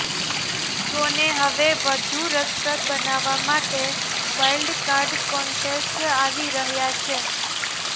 શોને હવે વધુ રસપ્રદ બનાવવા માટે વાઈલ્ડ કાર્ડ કોન્ટેસ્ટેન્ટ આવી રહ્યા છે